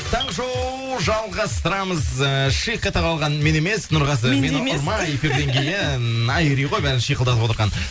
таңғы шоу жалғастырамыз ыыы шиқ ете қалған мен емес нұрғазы мені ұрма эфирден кейін айри ғой бәрін шиқылдатып отырған